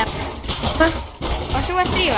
Og þú ert Drífa?